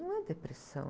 Não é depressão.